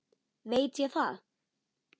Veit ég það?